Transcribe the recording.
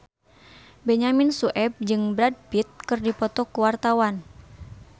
Benyamin Sueb jeung Brad Pitt keur dipoto ku wartawan